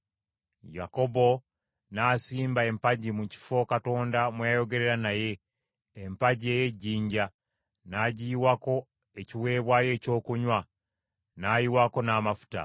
Yakobo n’asimba empagi mu kifo Katonda mwe yayogerera naye, empagi ey’ejjinja; n’agiyiwako ekiweebwayo ekyokunywa, n’ayiwako n’amafuta.